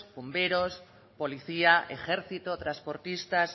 bomberos policía ejército transportistas